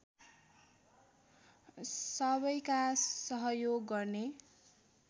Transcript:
सबैका सहयोग गर्ने